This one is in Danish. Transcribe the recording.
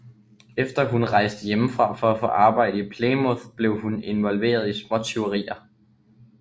Efter at hun rejste hjemmefra for at få arbejde i Plymouth blev hun involveret i småtyverier